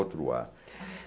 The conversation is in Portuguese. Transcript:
Outro ar.